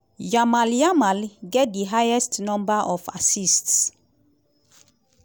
yamal yamal get di highest number of assists.